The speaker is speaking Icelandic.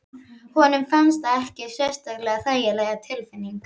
Honum fannst það ekki sérlega þægileg tilfinning.